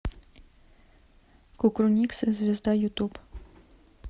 кукрыниксы звезда ютуб